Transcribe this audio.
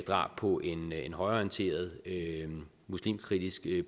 drab på en en højreorienteret muslimkritisk